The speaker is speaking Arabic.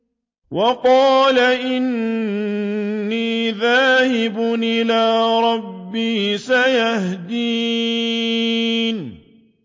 وَقَالَ إِنِّي ذَاهِبٌ إِلَىٰ رَبِّي سَيَهْدِينِ